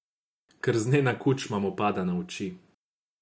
Krznena kučma mu pada na oči.